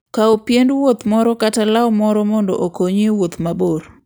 Kaw piend wuoth moro kata law moro mondo okonyi e wuoth mabor.